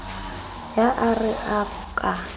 ye a re o ka